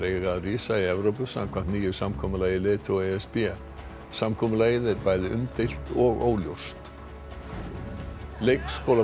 eiga að rísa í Evrópu samkvæmt nýju samkomulagi leiðtoga e s b samkomulagið er bæði umdeilt og óljóst leikskólabörn